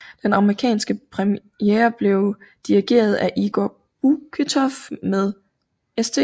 Den amerikanske premiere blev dirigeret af Igor Buketoff med St